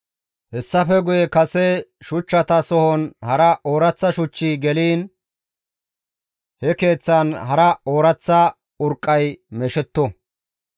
Hessafe guye kase shuchchata sohon hara ooraththa shuchchi geliin he keeththan hara ooraththa urqqay meeshetto.